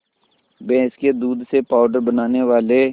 भैंस के दूध से पावडर बनाने वाले